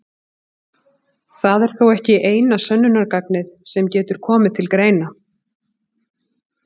Það er þó ekki eina sönnunargagnið sem getur komið til greina.